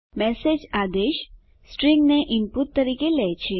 message આદેશ string ને input તરીકે લે છે